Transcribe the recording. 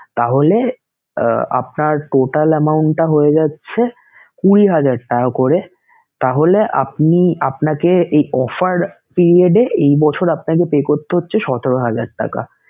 তাহলে আহ আপনার total amount টা হয়ে যাচ্ছে কুঁড়ি হাজার টাকা করে তাহলে আপনি আপনাকে এই offer period এ এই বছর আপনাকে pay করতে হচ্ছে সতেরো হাজার টাকা